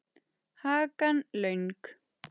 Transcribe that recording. Hakan löng.